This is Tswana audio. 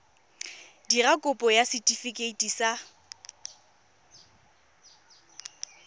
dira kopo ya setefikeiti sa